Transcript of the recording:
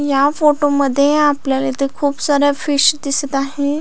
या फोटो मध्ये आपल्याला इथे खुप साऱ्या फिश दिसत आहे.